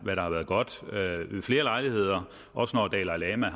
godt ved flere lejligheder også når dalai lama